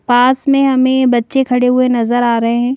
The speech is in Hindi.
पास में हमें बच्चे खड़े हुए नजर आ रहे है।